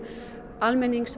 almennings